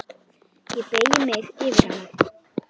Ég beygi mig yfir hana.